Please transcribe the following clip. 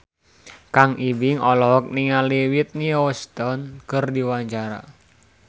Kang Ibing olohok ningali Whitney Houston keur diwawancara